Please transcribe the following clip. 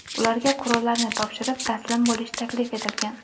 Ularga qurollarni topshirib, taslim bo‘lish taklif etilgan.